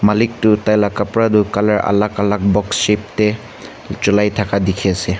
lik toh tai laga kapara toh color alag alag box shape te cholai thaka dikhe ase.